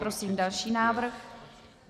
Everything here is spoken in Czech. Prosím další návrh.